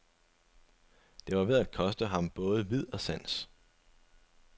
Det var ved at koste ham både vid og sans.